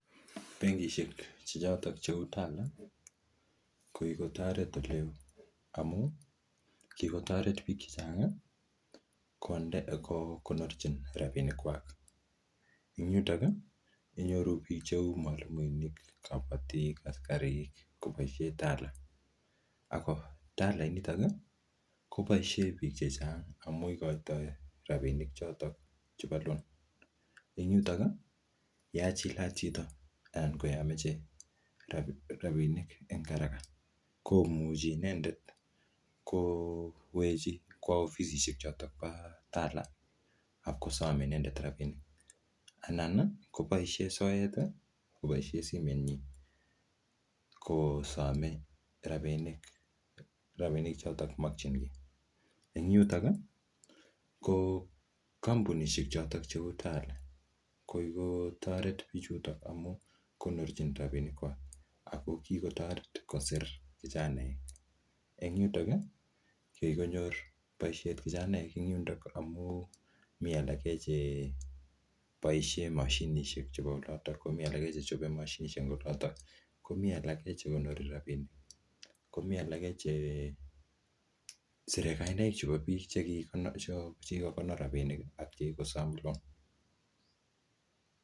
Benkishek che chotok cheu Tala, ko kikotoret ole oo. Amuu, kikotoret biik chechang' konde, kokonorchin rabinik kwak. Ing yutok, inyoru biik cheu mwalimuinik, kabatik, askarik koboisie Tala. Ako Tala initok, koboisie biik chechang amuu ikoitoi rabinik chotok chepo loan. Eng yutok, yea chilat chito, anan koyameche rabinik eng haraka, komuchi inendet kowechi kwoo ofisisiek chotok po Tala, apkosom inendet rabinik. Anan, koboisie soet koboisie simet nyii, kosome rabnik-rabinik chotok makchinkei. Eng yutok, ko kampunisiek chotok cheu Tala, ko kikotoret bichutok amu konorchin rabinik kwak. Ago kikotoret kosir vijanaek. Eng yutok, ko kikonyor boisiet vijanaek en yundok amu mii alake che boisie mashinishek chebo olotok. Komi alake che chope mashinishek eng olotok. Komii alake che konori rabinik. Komii alake chesire kainak chebo biik che kikonor rabinik, ak che kikosom loan. mwalimuinik-kanetik vijanaek-neranik